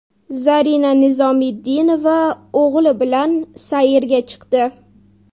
Zarina Nizomiddinova o‘g‘li bilan sayrga chiqdi.